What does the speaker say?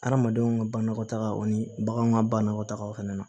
Adamadenw ka bannakɔtagaw ani baganw ka bannakɔtagaw fana na